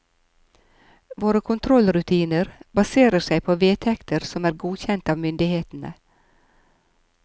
Våre kontrollrutiner baserer seg på vedtekter som er godkjent av myndighetene.